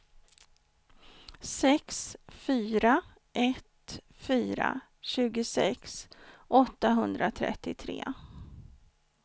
sex fyra ett fyra tjugosex åttahundratrettiotre